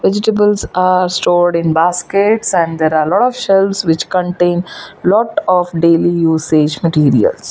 vegetables are stored in baskets and there are lot of shelves which contain lot of daily usage materials.